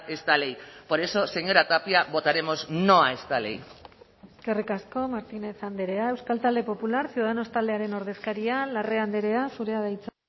esta ley por eso señora tapia votaremos no a esta ley eskerrik asko martínez andrea euskal talde popular ciudadanos taldearen ordezkaria larrea andrea zurea da hitza